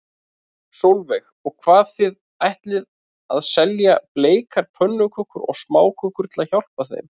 Sólveig: Og hvað, þið ætlið að selja bleikar pönnukökur og smákökur til að hjálpa þeim?